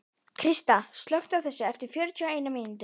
Krista, slökktu á þessu eftir fjörutíu og eina mínútur.